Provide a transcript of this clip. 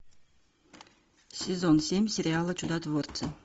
сезон семь сериала чудотворцы